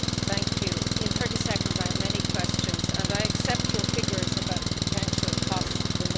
In 30 seconds I have many questions, and I accept your figures about the potential costs from a no deal'.